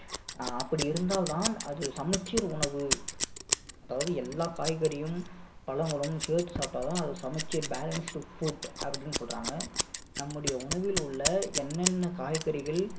ஆஹ் அப்படி இருந்தால் தான் அது சமச்சீர் உணவு அதாவது எல்லா காய்கறியும் பழங்களும் சேர்த்து சாப்பிட்டா தான் அது சமச்சீர் balanced food அப்படின்னு சொல்றாங்க நம்முடைய உணவில் உள்ள என்னென்ன காய்கறிகள்